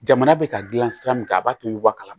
Jamana bɛ ka dilan sira min kan a b'a to wa kalama